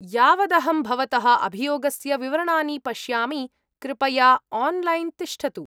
यावदहं भवतः अभियोगस्य विवरणानि पश्यामि, कृपया आन्लैन् तिष्ठतु।